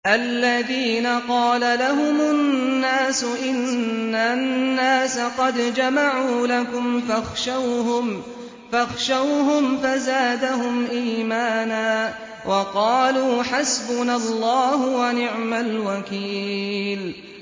الَّذِينَ قَالَ لَهُمُ النَّاسُ إِنَّ النَّاسَ قَدْ جَمَعُوا لَكُمْ فَاخْشَوْهُمْ فَزَادَهُمْ إِيمَانًا وَقَالُوا حَسْبُنَا اللَّهُ وَنِعْمَ الْوَكِيلُ